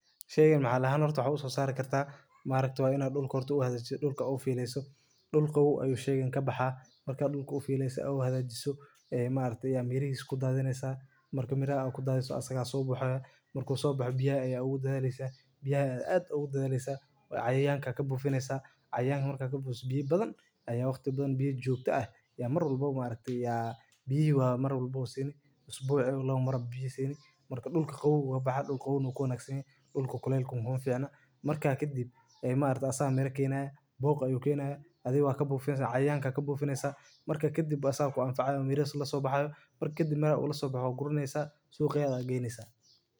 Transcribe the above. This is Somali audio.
Sheey maxalli ahaan u soo saaray kartaa? Maariti waa inaad dhulka ertu u hedeysat dhulka u fiilayso dhulka u ay sheegeen ka baxaa marka dhulka u fiilayso u hedeeyay ayee maariti ya miiri isku daadineysa. Marka miir ayaan ku daadaysa asaggaasoo buxaya mar kuu soo bixi biyaha ay ugu dheeraysa biyaha aad ugu dheeraysa cayaanka ka buufineysa. Cayaanka markaa ka buuxis biyi badan ayaa waqti badan biyo joogto ah ya mar walbo maartayaa, biyuhu mar walbo siini isbuuciga lagama rab biyee siin marka dhulka howgaga baxa dhulka u nuukoon agsihii dhulka kale kun hoon fiacno. Markaa kadib ay maaritaasa mirkeen ah booq ay u keenaay adigoo ka buufineysa cayaanka ka buufineysa. Markaa ka dib asalkaan faaco miiri la so baxa. Marka kadib mara la so baxo gurineysa suuqyada aggeynaysa.